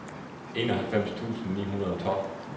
enoghalvfems tusind ni hundrede og tolv